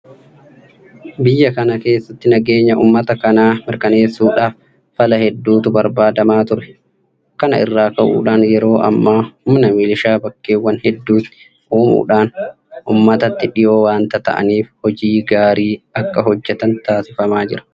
Biyya kana keessatti nageenya uummata kanaa mirkaneessuudhaaf fala hedduutu barbaadamaa ture. Kana irraa ka'uudhaan yeroo ammaa humna milishaa bakkeewwan hedduutti uumuudhaan uummatatti dhiyoo waanta ta'aniif hojii gaarii akka hojjetan taasifamaa jira.